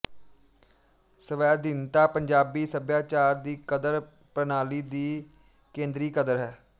ਸਵੈਧੀਨਤਾ ਪੰਜਾਬੀ ਸੱਭਿਆਚਾਰ ਦੀ ਕਦਰ ਪ੍ਰਣਾਲੀ ਦੀ ਕੇਂਦਰੀ ਕਦਰ ਹੈ